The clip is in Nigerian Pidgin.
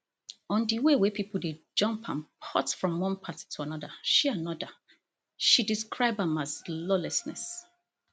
on di way wey pipo dey jump and port from one party to anoda she anoda she describe am as lawlessness